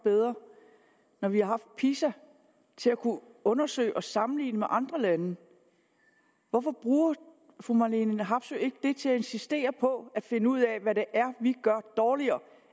bedre når vi har haft pisa til at kunne undersøge og sammenligne med andre lande hvorfor bruger fru marlene harpsøe ikke det til at insistere på at finde ud af hvad det er vi gør dårligere